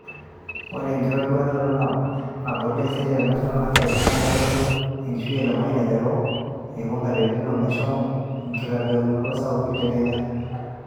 ore ekitoduaroto naboli taisere te National Archives naa kitodolu enkishui e Lemayian eiteru alikioo nkaatin o meshomo enkitoduaroto sapuk te Kenya